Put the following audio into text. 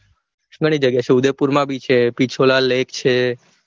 ઘણી જગ્યા છે ઉદેપુરમાં બી છે પિછોલા lake છે